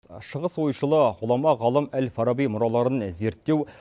шығыс ойшылы ғұлама ғалым әл фараби мұраларын зерттеу